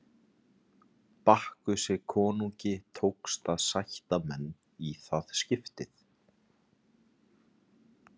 Bakkusi konungi tókst að sætta menn í það skiptið.